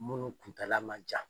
Munnu kuntaala man jan.